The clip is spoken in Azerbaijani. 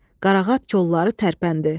Qarağat kolları tərpəndi.